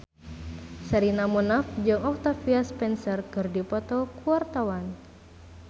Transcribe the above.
Sherina Munaf jeung Octavia Spencer keur dipoto ku wartawan